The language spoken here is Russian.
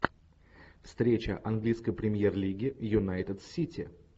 встреча английской премьер лиги юнайтед с сити